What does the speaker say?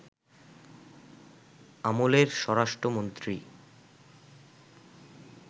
আমলের স্বরাষ্ট্রমন্ত্রী